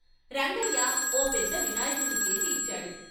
రంగయ్య ఓ పెద్ద వినాయకుణ్ణి చేసి ఇచ్చాడు.